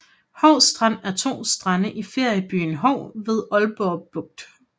Hou Strand er to strande i feriebyen Hou ved Aalborg Bugt